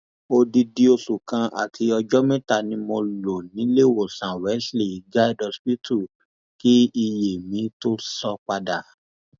odidi oṣù kan àti ọjọ mẹta ni mo lò níléewọsán wesley guild hospital kí iye mi tóó sọ padà